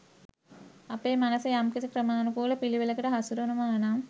අපේ මනස යම්කිසි ක්‍රමාණුකූල පිළිවෙලකට හසුරුවනවා නම්